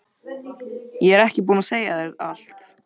Ég er ekki búin að segja þér allt!